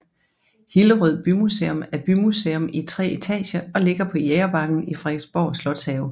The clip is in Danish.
Hillerød Bymuseum er bymuseum i tre etager og ligger på Jægerbakken i Frederiksborg Slotshave